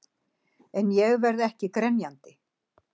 En ég verð ekki grenjandi.